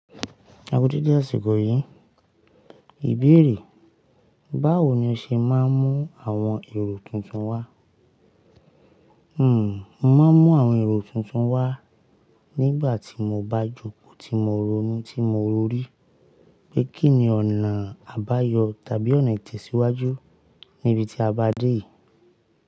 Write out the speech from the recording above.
Eku deede asikoò yìí, ìbéèrè, báwo ni o ṣe máa ń mú àwọn èrò tuntun wá Hmm, mo máa ń mú àwọn èrò tuntun wá nígbà tí mo bá jókòó tí mo rò nu, ti mo ròrí pé kí ni ọ̀nà àbáyọ tàbí ọ̀nà ìtẹ̀síwájú níbi tí a bá dé.